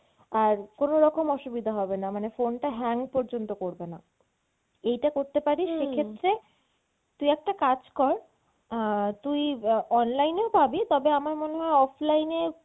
আর কোনোরকম অসুবিধা হবেনা মানে phone টা hang পর্যন্ত করবেনা। এইটা করতে পারিস সেক্ষেত্রে তুই একটা কাজ কর আহ তুই অ্যাঁ online এও পাবি তবে আমার মনে হয় offline এ